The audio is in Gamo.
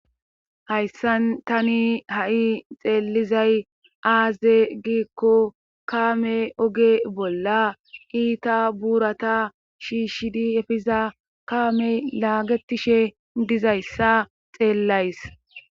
hayssan tani ha7i xeellizay aaze giikko kaame oge bolla iita buurata shiishshidi efiza kaamey laagetishe dizayssa xeellays